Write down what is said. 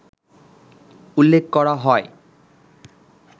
উল্লেখ করা হয়